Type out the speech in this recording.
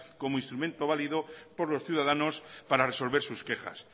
como instrumento válido por los ciudadanos para resolver sus quejas